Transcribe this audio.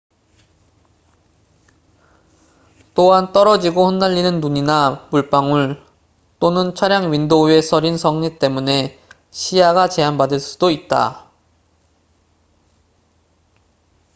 또한 떨어지고 흩날리는 눈이나 물방울 또는 차량 윈도우에 서린 성에 때문에 시야가 제한받을 수도 있다